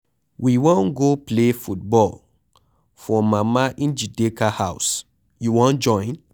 We wan go play football for Mama Njideka house. You wan join?